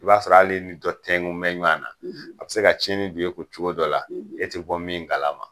I b'a sɔrɔ hal'i ni dɔ tɛnkunbɛ ɲɔan na, a bɛ se ka tiɲɛni don i kun cogo dɔ la, e te bɔ min kalama.